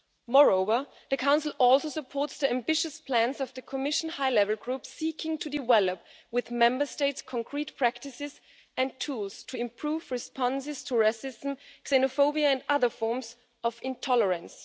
Moreover, the Council supports the ambitious plans of the Commission high level group seeking to develop, with Member States, concrete practices and tools to improve responses to racism, xenophobia and other forms of intolerance.